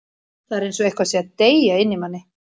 Það er eins og eitthvað sé að deyja inni í manni.